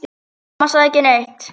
Amma sagði ekki neitt.